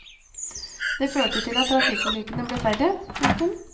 Det førte til at trafikkulykkene ble færre. punktum